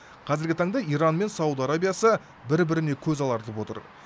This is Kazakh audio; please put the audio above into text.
қазіргі таңда иран мен сауд арабиясы бір біріне көз алартып отыр